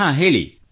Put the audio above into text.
ಹಾಂ ವಿನೋಲೆ ಹೇಳಿ